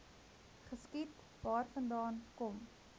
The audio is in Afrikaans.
geskiet waarvandaan kom